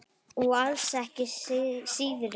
Og alls ekki síðri.